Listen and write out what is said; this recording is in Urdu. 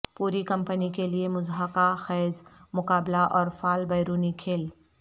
پوری کمپنی کے لئے مضحکہ خیز مقابلہ اور فعال بیرونی کھیل